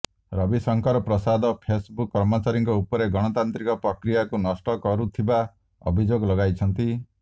Ravishankar Prasad Facebook କର୍ମଚାରୀଙ୍କ ଉପରେ ଗଣତାନ୍ତ୍ରିକ ପ୍ରକ୍ରିୟାକୁ ନଷ୍ଟ କରୁଥିବା ଅଭିଯୋଗ ଲଗାଇଛନ୍ତି